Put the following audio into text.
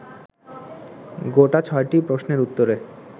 গোটা ছয়টি প্রশ্নের উত্তরে